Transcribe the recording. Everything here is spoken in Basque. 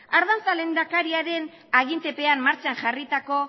ardanza lehendakariaren agintepean martxan jarritako